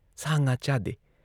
ꯁꯥ ꯉꯥ ꯆꯥꯗꯦ ꯫